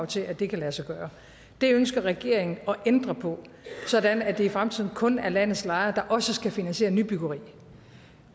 til at det kan lade sig gøre det ønsker regeringen at ændre på sådan at det i fremtiden kun er landets lejere der også skal finansiere nybyggeri